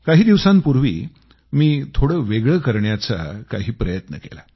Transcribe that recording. काही दिवसांपूर्वी मी थोडं वेगळं काही करण्याचा प्रयत्न केला